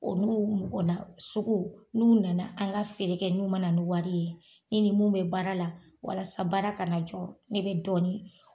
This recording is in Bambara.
Olu mɔgɔ nasugu n'u nana an ka feere kɛ n'u man na ni wari ye ne ni min bɛ baara la walasa baara kana jɔ ne bɛ dɔɔni